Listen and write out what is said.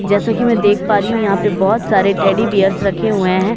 जैसा कि मैं देख पा रही हूं यहां पे बहोत सारे टेडी बीयर्स रखे हुए हैं।